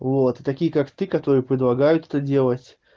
вот такие как ты которые предлагают это делать